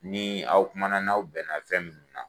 Ni aw kuma na ni aw bɛnna fɛn min na